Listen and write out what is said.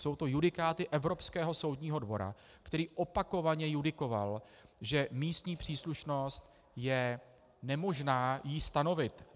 Jsou to judikáty Evropského soudního dvora, který opakovaně judikoval, že místní příslušnost je nemožná - ji stanovit.